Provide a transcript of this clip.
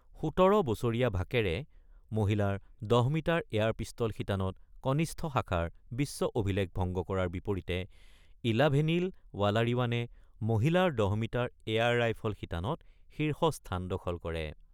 ১৭ বছৰীয়া ভাকেৰে মহিলাৰ ১০ মিটাৰ এয়াৰ পিষ্টল শিতানত কনিষ্ঠ শাখাৰ বিশ্ব অভিলেখ ভংগ কৰাৰ বিপৰিতে ইলাভেনিল ৱালাৰিৱানে মহিলাৰ ১০ মিটাৰ এয়াৰ লাইফল শিতানত শীৰ্ষ স্থান দখল কৰে।